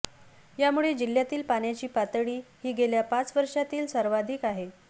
यामुळे जिल्ह्यातील पाण्याची पातळी ही गेल्या पाच वर्षांतील सर्वाधिक आहे